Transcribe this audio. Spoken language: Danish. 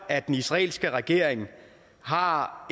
at den israelske regering har